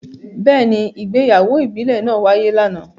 Beeni, ìgbéyàwó ìbílè naa waye lana.